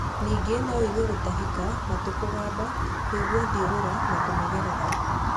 Ningĩ no ũigwe gũtahĩka, matũ kũgamba, kũigua thiũrũra na kũnogerera.